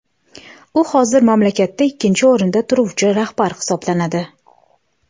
U hozir mamlakatda ikkinchi o‘rinda turuvchi rahbar hisoblanadi.